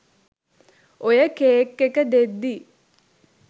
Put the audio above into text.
ඔය කේක් එක දෙද්දි